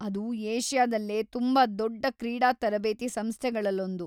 ಅದು ಏಷ್ಯಾದಲ್ಲೇ ತುಂಬಾ ದೊಡ್ಡ ಕ್ರೀಡಾ ತರಬೇತಿ ಸಂಸ್ಥೆಗಳಲ್ಲೊಂದು.